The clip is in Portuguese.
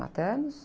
Maternos?